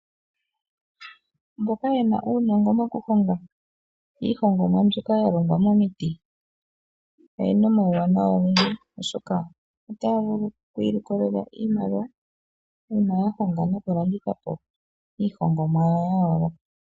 Mboka yena uuhongo mokuhonga iihongomwa mbyoka ya longwa momiti, oyena omauwanawa ogendji oshoka otaya vulu oku ilikolela iimaliwa, uuna ya honga nokulanditha po iihongomwa yawo ya yooloka.